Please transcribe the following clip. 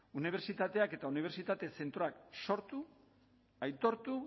unibertsitateak eta unibertsitate zentroak sortu aitortu